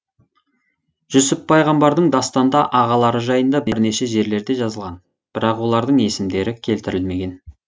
жүсіп пайғамбардың дастанда ағалары жайында бірнеше жерлерде жазылған бірақ олардың есімдері келтірілмеген